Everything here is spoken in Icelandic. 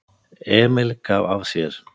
Emil gaf af sér.